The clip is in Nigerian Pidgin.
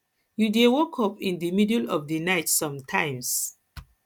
you dey wake up in di middle of di night sometimes